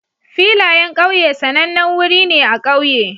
Filayen ƙauye sanannen wuri ne a ƙauye